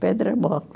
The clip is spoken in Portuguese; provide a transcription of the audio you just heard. Pedra